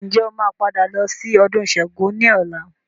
Ǹjẹ́ o máa padà lọ sí ọdún Sángo ni ọ̀la?